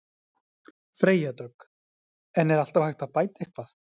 Freyja Dögg: En er alltaf hægt að bæta eitthvað?